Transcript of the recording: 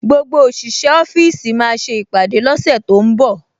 Gbogbo òṣìṣẹ́ ọ́fíìsì máa ṣe ìpàdé lọ́sẹ̀ tó ń bọ̀